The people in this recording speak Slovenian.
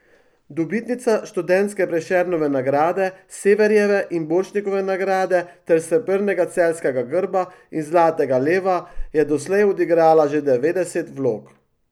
Dobitnica študentke Prešernove nagrade, Severjeve in Borštnikove nagrade ter srebrnega celjskega grba in zlatega leva je doslej odigrala že devetdeset vlog.